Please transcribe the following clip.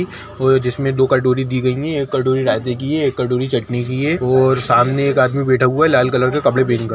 और जिसमें दो कटोरी दी गई है एक कटोरी रायते की है एक कटोरी चटनी की है और सामने एक आदमी बैठा हुआ है लाल कलर का कपड़े पेहेन कर --